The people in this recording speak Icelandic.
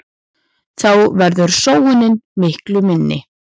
Þá verður sóunin miklu minni.